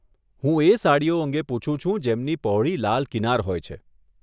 હું એ સાડીઓ અંગે પુછું છું, જેમની પહોળી લાલ કિનાર હોય છે.